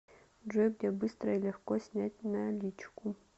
джой где быстро и легко снять наличку